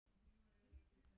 Klukkan korter yfir átta